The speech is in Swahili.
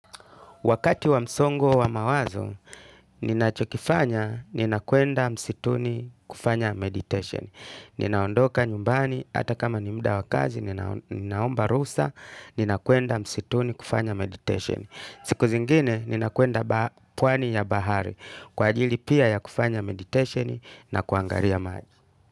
Wakati wa msongo wa mawazo, ninachokifanya, nina kwenda msituni kufanya meditation. Ninaondoka nyumbani, hata kama ni mda wa kazi, ninaomba ruhusa, nina kuenda msituni kufanya meditation. Siku zingine, nina kwenda pwani ya bahari, kwa ajili pia ya kufanya meditation na kuangalia maji.